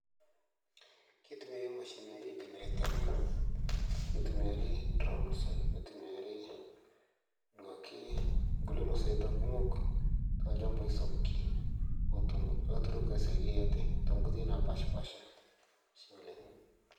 keitumiya mashini generetani nitumiyari drones nitumiyari duake nkule Masaita kumok tolchambai sapuki oto laturuk isaidia ate toonkoitoi napashipasha ashe oleng'.